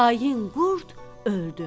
Xain qurd öldü.